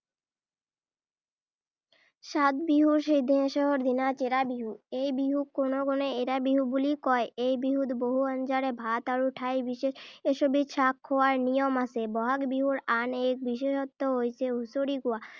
সাত বিহুৰ শেষৰ দিনা চেৰা বিহু। এই বিহুক কোনো কোনোৱে এৰা বিহু বুলিও কয়। এই বিহুত বহু আঞ্জাৰে ভাত আৰু ঠাই বিশেষ এশ এবিধ শাক খোৱাৰ নিয়ম আছে। ব’হাগ বিহুৰ আন এক বিশেষত্ব হৈছে হুঁচৰি গোৱা।